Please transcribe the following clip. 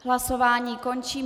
Hlasování končím.